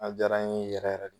A jaara n ye yɛrɛ yɛrɛ de.